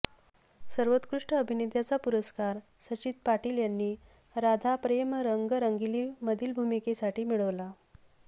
सर्वोत्कृष्ट अभिनेत्याचा पुरस्कार सचित पाटील यांनी राधा प्रेम रंगी रंगलीमधील भूमिकेसाठी मिळवला